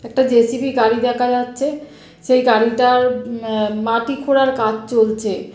একটা জে.সি.বি. গাড়ি দেখা যাচ্ছে। সেই গাড়িটার আ মাটি খুঁড়ার কাজ চলছে।